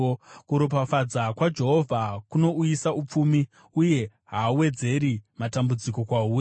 Kuropafadza kwaJehovha kunowanisa upfumi, uye haawedzeri matambudziko kwahuri.